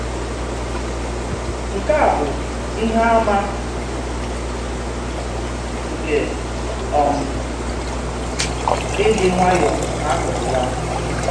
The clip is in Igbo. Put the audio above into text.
Nkè a bụ́ ìhè àmà nke um ìdị́ nwayọ̀ọ́ n’akụkụ yà.